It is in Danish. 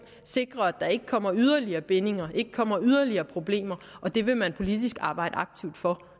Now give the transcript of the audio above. sikre at der ikke kommer yderligere bindinger ikke kommer yderligere problemer og det vil man politisk arbejde aktivt for